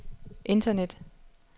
internet